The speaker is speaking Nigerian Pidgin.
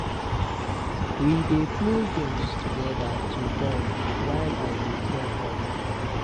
We dey play games together to bond while I dey care for dem.